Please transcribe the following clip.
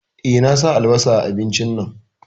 Eh, na sa albasa a abincin nan